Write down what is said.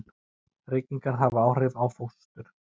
Reykingar hafa áhrif á fóstur.